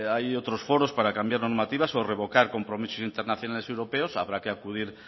hay otros foros para cambiar normativas o revocar compromisos internaciones y europeos habrá que acudir